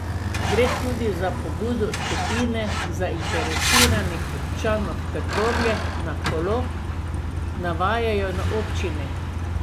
Gre tudi za pobudo skupine zainteresiranih občanov Trbovlje na kolo, navajajo na občini.